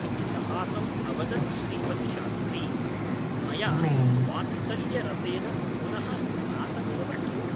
इति सहासम् अवदत् श्रीपतिशास्त्री । मया वात्सल्यरसेन पुनः स्नातमेव ननु ?